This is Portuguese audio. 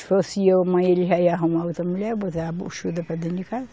Se fosse eu, mãe, ele já ia arrumar outra mulher, botar a buchuda para dentro de casa.